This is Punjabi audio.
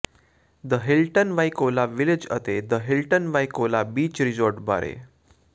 ਦ ਹਿਲਟਨ ਵਾਈਕੋਲਾ ਵਿਲੇਜ ਅਤੇ the Hilton Waikoloa beach resort ਬਾਰੇ